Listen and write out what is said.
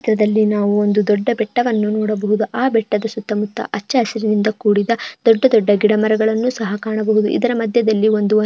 ಚಿತ್ರದಲ್ಲಿ ನಾವು ಒಂದು ದೊಡ್ಡ ಬೆಟ್ಟವನ್ನು ನೋಡಬಹುದು ಆ ಬೆಟ್ಟದ ಸುತ್ತಮುತ್ತ ಹಚ್ಚ ಹಸಿರಿನಿಂದ ಕೂಡಿದ ದೊಡ್ಡ ದೊಡ್ಡ ಗಿಡಮರಗಳನ್ನು ಸಹ ಕಾಣಬಹುದು. ಇದರ ಮಧ್ಯದಲ್ಲಿ ಒಂದು --